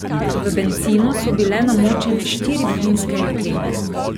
V bencinu so bile namočene štiri plinske jeklenke.